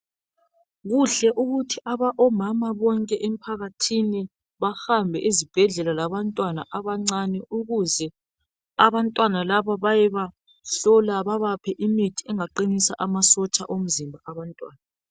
Kuhle ukuthi omama bonke emphakathini bahambe ezibhedlela labantwana abancane ukuze abantwana labo bayebahlola babaphe imithi engaqinisa amasotsha omzimba wabantwana.